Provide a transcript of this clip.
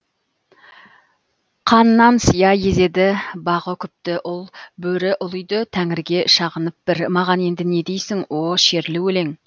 қаннан сия езеді бағы күпті ұл бөрі ұлиды тәңірге шағынып бір маған енді не дейсің о шерлі өлең